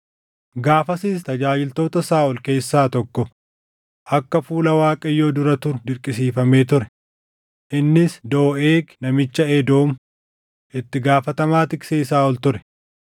Gaafasis tajaajiltoota Saaʼol keessaa tokko akka fuula Waaqayyoo dura turu dirqisiifamee ture; innis Dooʼeeg namicha Edoom, itti gaafatamaa tiksee Saaʼol ture.